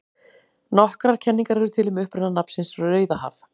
Nokkrar kenningar eru til um uppruna nafnsins Rauðahaf.